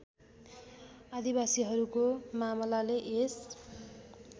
आदिवासीहरूको मामलाले यस